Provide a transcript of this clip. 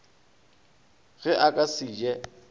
ge a ka se je